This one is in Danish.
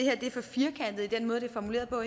er formuleret på